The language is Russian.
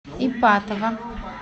ипатово